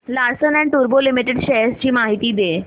Larsen and टुर्बो limited shares ची माहिती दे